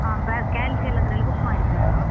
ಹಾ calsi ಎಲ್ಲ ಅದ್ರಲ್ಲಿ book ಮಾಡಿದ್ದೆ ನಾನು